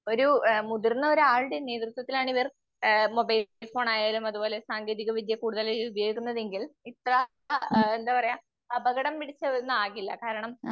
ഒരൂ അ മുതിർന്നൊരാളുടെ നേതൃത്വത്തിലാണ് ആഹ് മൊബൈൽഫോൺ ആയാലും സാങ്കേതികവിദ്യ കൂടുതൽ ഉപയോഗിക്കുന്നതെങ്കിൽ അ അ എന്താപറയ അപകടം പിടിച്ച ഒന്നാകില്ല.